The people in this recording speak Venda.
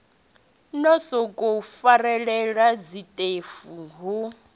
no sokou farelela zwiṱefu ho